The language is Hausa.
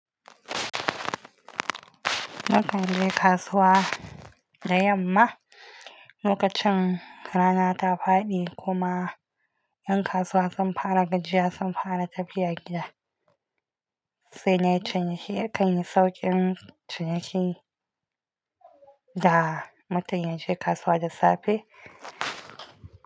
Mukan je kasuwa da yamma lokacin rana ta faɗi kuma ƴan kasuwa sun fara gajiya sun fara tafiya gida sai na canya shi akan yi sauƙin ciniki da mutun yaje kasuwa da safe.